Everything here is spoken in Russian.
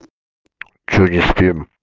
что не спим